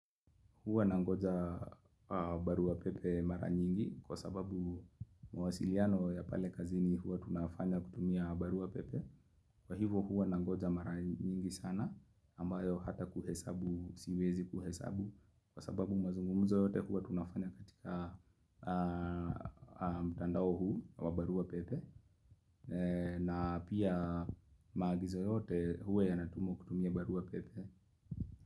Huwa nangoja barua pepe mara nyingi kwa sababu mwasiliano ya pale kazini huwa tunafanya kutumia barua pepe. Kwa hivo huwa nangoja mara nyingi sana ambayo hata kuhesabu siwezi kuhesabu kwa sababu mazungumzo yote huwa tunafanya katika mtandao huu wa barua pepe na pia magizo yote huwa yanatumwa kutumia barua pepe.